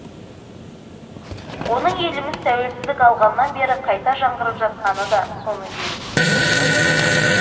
оның еліміз тәуелсіздік алғаннан бері қайта жаңғырып жатқаны да соның белгісі